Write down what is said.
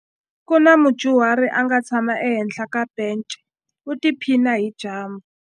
Ku na mudyuhari a nga tshama ehenhla ka bence u tiphina hi dyambu.